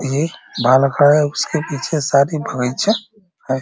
ये बालक है उसके पीछे ये है ।